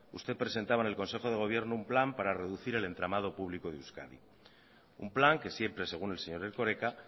usted presentaba en el consejo de gobierno un plan para reducir el entramado público de euskadi un plan que siempre según el señor erkoreka